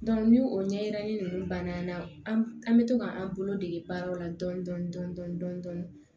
ni o ɲɛgɛnnen ninnu banna an na an bɛ to k'an bolo dege baaraw la dɔɔni dɔɔni dɔɔni dɔɔni dɔɔni